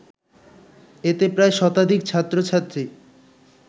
এতে প্রায় শতাধিক ছাত্র-ছাত্রী